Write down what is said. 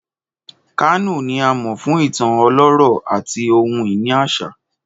Kano ni a mọ fun itan ọlọrọ ati ohun-ini aṣa.